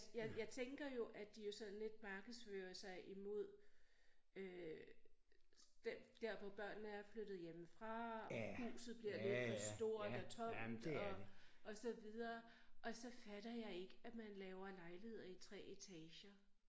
Jeg jeg tænker jo at de jo sådan lidt markedsfører sig imod øh den der hvor børnene er flyttet hjemmefra huset bliver lidt for stort og tomt og og så videre og så fatter jeg ikke at man laver lejligheder i 3 etager